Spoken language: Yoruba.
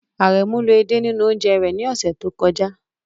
Aremu lo ede nínú oúnjẹ rẹ̀ ní ọ̀sẹ̀ tó kọjá.